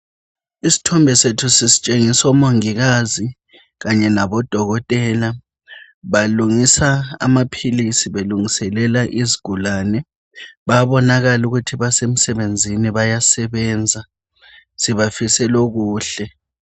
Isithombe sethu sisitshengisa omongokazi kanye labodokotela, balungisa amaphilisi belungiselela izigulane, bayabonakala ukuthi basemsebenzini bayasebenza. Sibafisela okuhle.